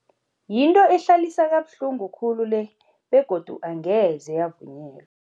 Yinto ehlalisa kabuhlungu khulu le begodu angeze yavunyelwa.